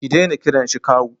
Ki dena kiran shi kawu